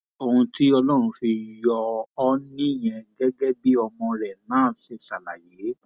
ohun tí ọlọrun fi yọ ọ nìyẹn gẹgẹ bí ọmọ rẹ náà ṣe ṣàlàyé